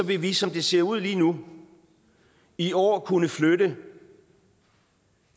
vi som det ser ud lige nu i år kunne flytte